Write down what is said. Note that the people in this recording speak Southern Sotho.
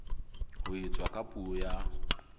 ho etswa ka puo ya